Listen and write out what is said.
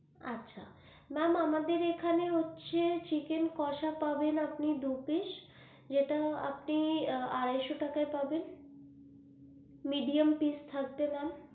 আচ্ছা ma'am আমাদের এখানে হচ্ছে chicken কষা পাবেন আপনি দু piece যেটা আপনি আড়াই শো টাকায় পাবেন medium piece থাকবে ma'am,